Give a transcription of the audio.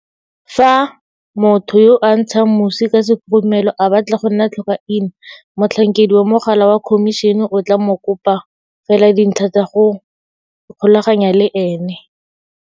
Fa motho yo a ntshang mosi ka sekhurumelo a batla go nna tlhokaina, motlhankedi wa mogala wa Khomišene o tla mo kopa fela dintlha tsa go ikgolaganya le ene.